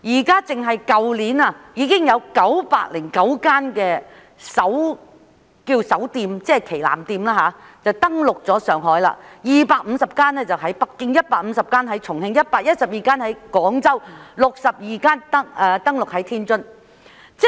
單計去年，已有909間首店登陸上海、250間登陸北京、150間登陸重慶、112間登陸廣州，以及62間登陸天津。